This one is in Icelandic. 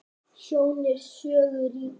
Sjón er sögu ríkari.